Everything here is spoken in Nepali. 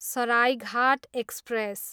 सराइघाट एक्सप्रेस